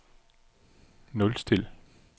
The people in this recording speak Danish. nulstil